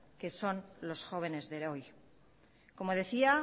que son los jóvenes de hoy como decía